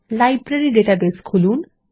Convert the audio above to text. library database খুলুন